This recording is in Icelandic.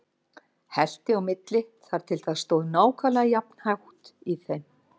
Hellti á milli þar til það stóð nákvæmlega jafn hátt í þeim.